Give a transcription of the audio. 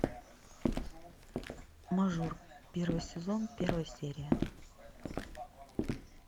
мажор первый сезон первая серия